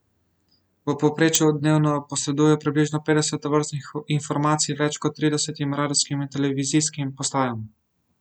V povprečju dnevno posredujejo približno petdeset tovrstnih informacij več kot tridesetim radijskim in televizijskim postajam.